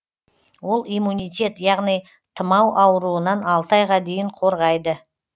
ол иммунитет яғни тымау ауруынан алты айға дейін қорғайды